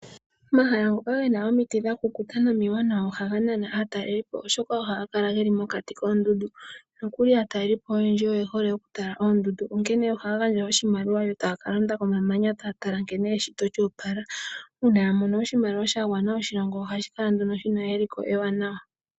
Omahala ngoka ge na omiti dha kukuta nomiwanawa ohaga nana aatalelipo, oshoka ohaga kala ge li mokati koondundu. Aatalelipo oyendji oye hole okutala oondundu, onkene ohaya gandja oshimaliwa yo taya ka londa komamanya taya tala nkene eshito lyo opala. Uuna ya mono oshimaliwa sha gwana oshilongo ohashi kala nduno shi na eliko ewanawa.